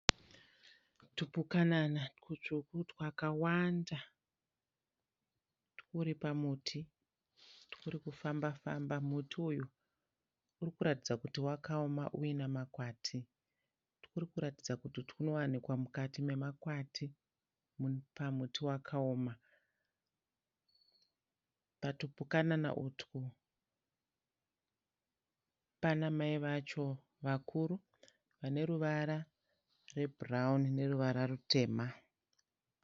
Tupukanana tutsvuku twakawanda turipamuti turikufamba famba. Muti uyu urikuratidza kuti wakaona unemakwati. Turikuratidza kuti tunowanikwa mukati memakwati pamuti wakaoma. Patupukanan utwu panamai vacho vakuru vane ruvara rwebrown neruvara rwutema.